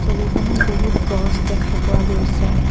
ছবিখনত বহুত গছ দেখা পোৱা গৈছে।